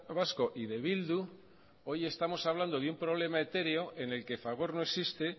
vasco y de bildu hoy estamos hablando de un problema etéreo en el que fagor no existe